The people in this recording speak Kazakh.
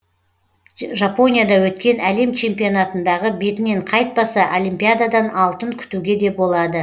жапонияда өткен әлем чемпионатындағы бетінен қайтпаса олимпиададан алтын күтуге де болады